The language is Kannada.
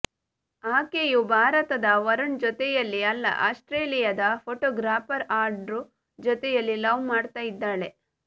ಆಕೆಯು ಭಾರತದ ವರುಣ್ ಜೊತೆಯಲ್ಲಿ ಅಲ್ಲ ಆಸ್ಟ್ರೇಲಿಯಾದ ಫೋಟೋಗ್ರಾಫರ್ ಆಂಡ್ರೂ ಜೊತೆಯಲ್ಲಿ ಲವ್ ಮಾಡ್ತಾ ಇದ್ದಾಳೆ